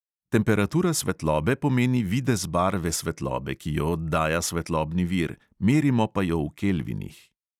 Temperatura svetlobe pomeni videz barve svetlobe, ki jo oddaja svetlobni vir, merimo pa jo v kelvinih.